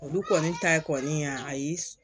Olu kɔni ta kɔni yan ayi